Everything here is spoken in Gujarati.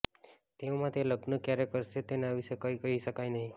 તેવામાં તે લગ્ન ક્યારે કરશે તેના વિશે કંઈ કહી શકાય નહીં